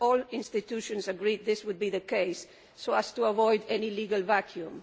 All the institutions agreed that this would be the case so as to avoid any legal vacuum.